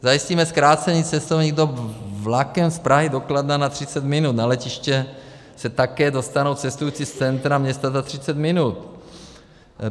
Zajistíme zkrácení cestovní doby vlakem z Prahy do Kladna na 30 minut, na letiště se také dostanou cestující z centra města za 30 minut.